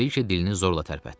Brike dilini zorla tərpətdi.